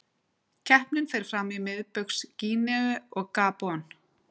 Keppnin fer fram í Miðbaugs Gíneu og Gabon.